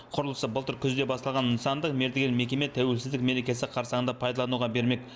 құрылысы былтыр күзде басталған нысанды мердігер мекеме тәуелсіздік мерекесі қарсаңында пайдалануға бермек